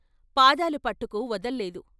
పాదాలు పట్టుకు వదల్లేదు.